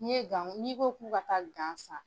N ye n'i ko k'u ka taa san.